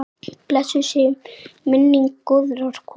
Blessuð sé minning góðrar konu.